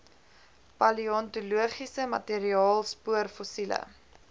paleontologiese materiaal spoorfossiele